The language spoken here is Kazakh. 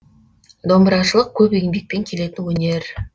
домбырашылық көп еңбекпен келетін өнер